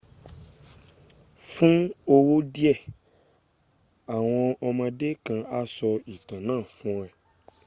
fun owo die awon omode kan a so itan naa fun e